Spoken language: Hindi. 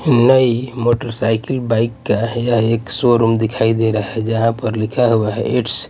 नई मोटरसाइकिल बाइक का यह एक शोरूम दिखाई दे रहा है जहां पर लिखा हुआ है इट्स --